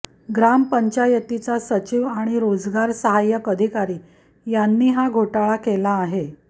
ग्राम पंचायतीचा सचिव आणि रोजगार सहाय्यक अधिकारी यांनी हा घोटाळा केला आहे